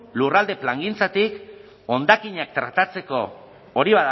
lurralde plangintzatik hondakinak tratatzeko hori